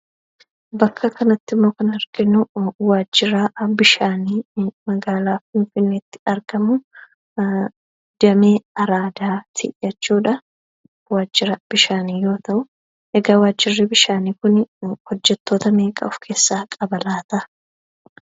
Bakka kanattimmoo kan, nuyi arginu wajjira bishaanii magaala finfinneetti argamu, damee araadatti jechuudha. Wajjira bishaanii yoo ta'u, egaa wajjirri bishaanii kun, hojjettoota meeqa of-keessaa qaba laata?